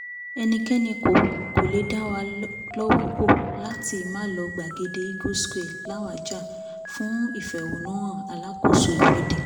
ẹnikẹ́ni kò kò lè dáwà lọ́wọ́ kò láti málò gbàgede eagles square làwájá fún ìfẹ̀hónúhàn alàkóso ìwọ́de